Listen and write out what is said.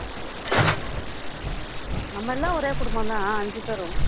நம்ம எல்லாம் ஒரே குடும்பம்தான் அஹ் அஞ்சு பேரும்